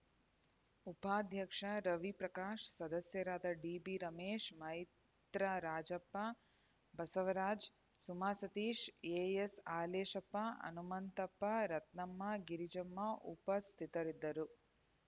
ಉಪಾಧ್ಯಕ್ಷ ರವಿ ಪ್ರಕಾಶ್‌ ಸದಸ್ಯರಾದ DB Ramesh Maitra Rajappa Basavaraj Suma Satish AS Haleshappa Hanumanthappa Ratnamma Girijamma ಉಪಸ್ಥಿತರಿದ್ದರು